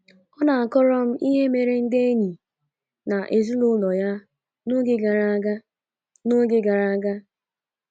Ọ na - akọrọ m ihe mere ndị enyi na ezinụlọ ya n’oge gara aga n’oge gara aga.